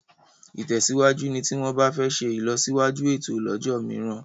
ìtèsíwájú ní tí wón bá fè ṣe ilọsiwaju ẹtọ lójó míràn